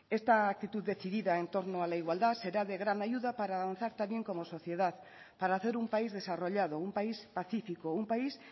esta actitud decidida en torno a la igualdad será de gran ayuda para avanzar también como sociedad para hacer un país desarrollado un país pacífico un país